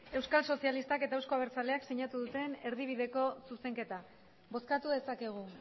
euskal sozialistak eta euzko abertzaleak sinatu duten erdibideko zuzenketa bozkatu dezakegu